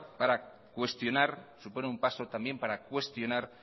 para cuestionar supone un paso también para cuestionar